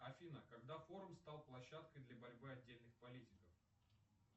афина когда форум стал площадкой для борьбы отдельных политиков